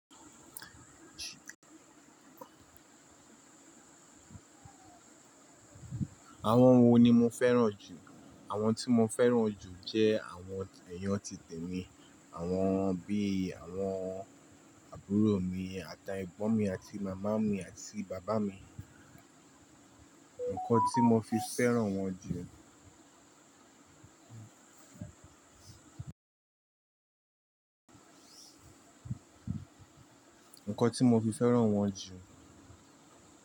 Àwọn wo ni mo fẹ́ràn jù? Àwọn tí mo fẹ́ràn jù jẹ́ àwọn ẹ̀yàn titẹ mi, àwọn bí i àwọn àbúrò mi àtiegbon mi àti màmá mi àti bàbá mi. Nǹkan tí mo fi fẹ́ràn wọn jù, nǹkan tí mo fi fẹ́ràn wọn jù.